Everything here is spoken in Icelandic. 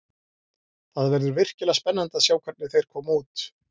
Það verður virkilega spennandi að sjá hvernig þeir koma út.